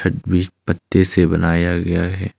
वि पत्ते से बनाया गया है।